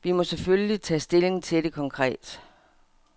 Vi må selvfølgelig tage stilling til det konkret.